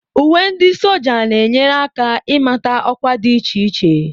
Uwe ndi sójá na-enyere aka ịmata ọkwa dị iche iche